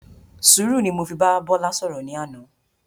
Sùúrù ni mo fi bá Bọ́lá ṣọ̀rọ̀ ní àná.